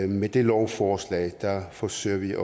med dette lovforslag forsøger vi at